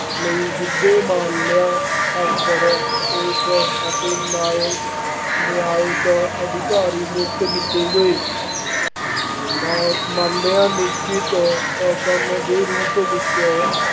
ਲਈ ਸਿੱਧੇ ਮਾਮਲਿਆਂ ਅਫਸਰ, ਪੁਲਿਸ ਅਤੇ ਨਾਇਬ ਨਿਆਂਇਕ ਅਧਿਕਾਰੀ ਨਿਯੁਕਤ ਕੀਤੇ ਗਏ। ਮਾ ਮਾਲਿਆ ਨਿਸ਼ਚਿਤ ਹੁਕਮ ਦੇ ਰੂਪ ਵਿੱਚ